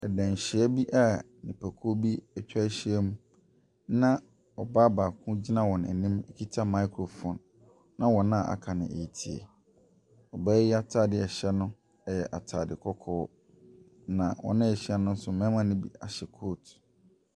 Danhyia bi a nnipakuo bi atwa ahyiam na ɔbaa baako gyina wɔn anim kita microphone, na wɔn a wɔaka no retie. Ɔbaa yi atadeɛ a ɛhyɛ no yɛ atade kɔkɔɔ, na wɔn a wɔahyia no nso na wɔn mu bi ahyɛ coat.